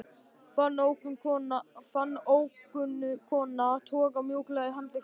Fann ókunnu konuna toga mjúklega í handlegginn á mér